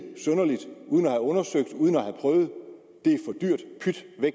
synderligt uden at have undersøgt det og prøvet